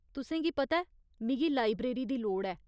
तुसेंगी पता ऐ मिगी लाइब्रेरी दी लोड़ ऐ।